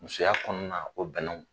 Musoya kɔnɔna na o bɛn